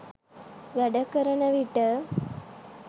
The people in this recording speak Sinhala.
වැඩ කරන විට